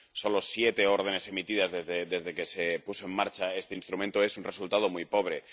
Solo siete órdenes emitidas desde que se puso en marcha este instrumento es un resultado muy pobre.